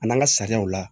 An'an ka sariyaw la